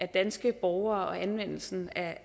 danske borgere og anvendelsen